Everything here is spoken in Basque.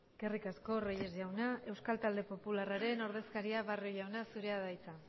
está claro eskerrik asko reyes jauna euskal talde popularraren ordezkaria barrio jauna zurea da hitza